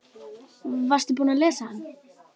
Varstu búinn að lesa hann?